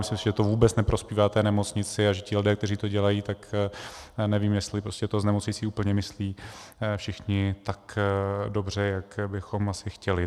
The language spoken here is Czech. Myslím si, že to vůbec neprospívá té nemocnici a že ti lidé, kteří to dělají, tak nevím, jestli to s nemocnicí úplně myslí všichni tak dobře, jak bychom asi chtěli.